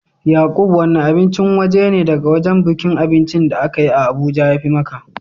Yaqub wanne abincin waje ne daga wajen bukin abinci da aka yi a Abuja ya fi ma ka?